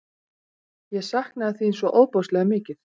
Ég saknaði þín svo ofboðslega mikið.